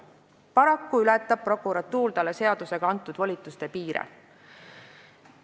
Paraku ületab prokuratuur talle seadusega antud volituste piire.